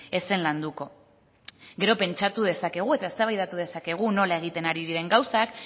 ez zen landuko gero pentsatu dezakegu eta eztabaidatu dezakegu nola egiten ari diren gauzak